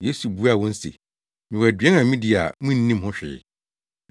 Yesu buaa wɔn se, “Mewɔ aduan a midi a munnim ho hwee.”